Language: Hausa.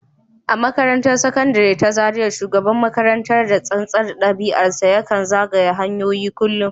A makarantar Sakandare ta Zariya, shugaban makarantar, da tsantsar ɗabi’arsa, ya kan zagaya hanyoyin kullum